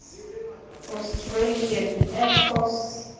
australian air force